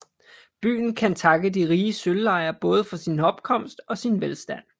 Byen kan takke de rige sølvlejer både for sin opkomst og sin velstand